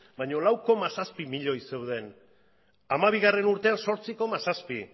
lau koma zazpi milioi zeuden bi mila hamabigarrena urtean zortzi koma zazpi